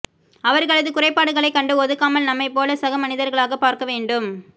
அவர்களது குறைபாடுகளைக் கண்டு ஒதுக்காமல் நம்மைப்போல சக மனிதர்களாகப் பார்க்கவேண்டும்